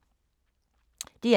DR1